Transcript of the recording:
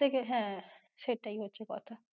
থেকে হ্যাঁ, সেটাই হচ্ছে কথা।